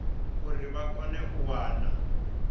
uri vha kone u wana